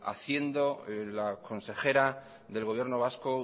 haciendo la consejera del gobierno vasco